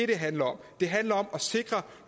det handler om det handler om at sikre